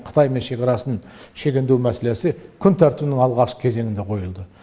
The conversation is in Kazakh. қытаймен шекарасын шегендеу мәселесі күн тәртібінің алғашқы кезеңінде қойылды